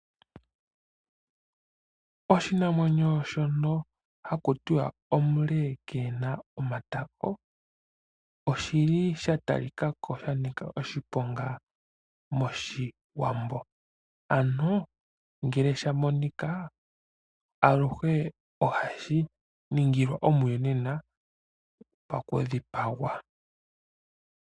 Oshinamwenyo shono haku tiwa omule keena omatako oshili sha tali kako sha nika oshiponga moshiwambo. Ano ngele sha monika aluhe ohashi ningilwa omuyonena paku dhipagwa.